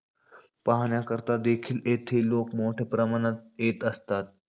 पाहण्याकरता देखील येथे लोक मोठया प्रमाणात येत असतात.